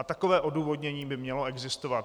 A takové odůvodnění by mělo existovat.